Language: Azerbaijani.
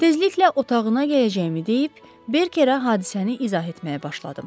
Tezliklə otağına gələcəyimi deyib, Berkerə hadisəni izah etməyə başladım.